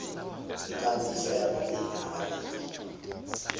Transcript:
ikambiso yamalimi amanengi